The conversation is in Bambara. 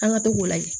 An ka to k'o layɛ